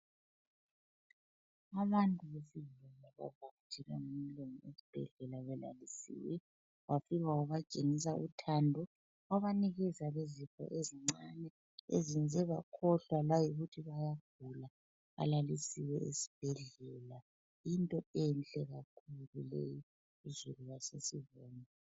Abantu abasesibhedlela, bavakatshelwe ngumlungu esibhedlela, belalisiwe. Wafika wabatshengisa uthando. Wabanikeza leziipho ezincane. Ezenze bakhohlwa layikuthi bayagula. Balalisiwe esibhedlela. Yinto enhle kakhulu leyo. Kuzulu osesibhedlela.